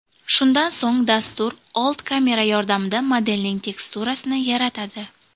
Shundan so‘ng dastur old kamera yordamida modelning teksturasini yaratadi.